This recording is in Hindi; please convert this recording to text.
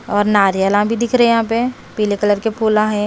और नारियला भी दिख रहे हैं यहाँ पे पीले कलर के फूला हैं।